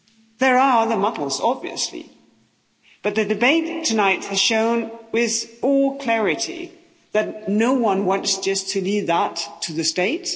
There are other models, obviously. But the debate tonight has shown with all clarity that no one wants just to leave that to the state.